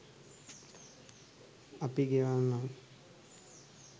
අපි ගෙවන්නම්